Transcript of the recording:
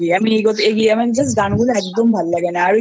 করতে থাকি আমি আমার গানগুলো একদম ভালো লাগে না